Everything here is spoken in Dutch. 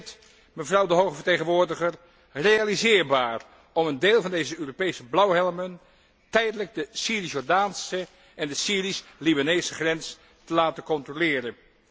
Is het, mevrouw de hoge vertegenwoordiger, realiseerbaar om een deel van deze Europese blauwhelmen tijdelijk de Syrisch Jordaanse en de Syrisch Libanese grens te laten controleren?